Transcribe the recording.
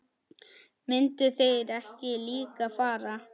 Myndu þeir ekki líka fara?